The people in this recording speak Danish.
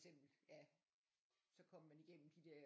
Eksempel så kommer man igennem de der